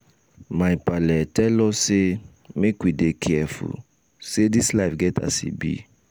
my paale tel us sey make we dey careful say dis life get as e be.